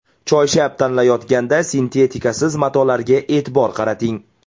Choyshab tanlayotganda sintetikasiz matolarga e’tibor qarating.